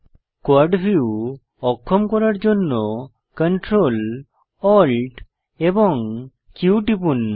quad view অক্ষম করার জন্য Ctrl Alt এবং Q টিপুন